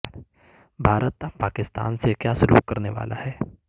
بھارت اب پاکستان سے کیا سلوک کرنے والا ہے